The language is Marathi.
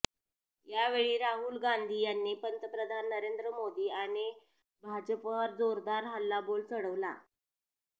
यावेळी राहुल गांधी यांनी पंतप्रधान नरेंद्र मोदी आणि भाजपावर जोरदार हल्लाबोल चढवला